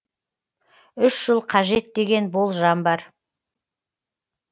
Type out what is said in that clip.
үш жыл қажет деген болжам бар